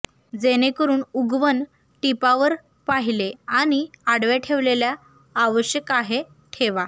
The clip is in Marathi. जेणेकरून उगवण टिपा वर पाहिले आणि आडव्या ठेवलेल्या आवश्यक आहे ठेवा